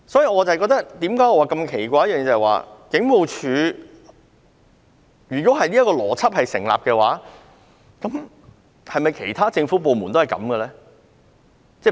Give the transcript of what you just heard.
我感到奇怪的是，如果這個邏輯成立，是否其他政府部門也如此運作呢？